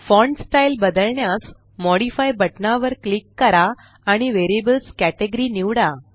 font style बदलण्यास modify बटना वर क्लिक करा आणि Variablesकेटेगरी निवडा